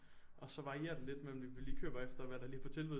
Og så varierer det lidt mellem vi lige køber efter hvad der er på tilbud